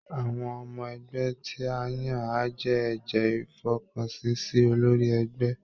Àwọn ọmọ ẹgbẹ́ tí a yàn á jẹ́ ẹ̀jẹ́ ìfọkànsìn sí olórí ẹgbẹ́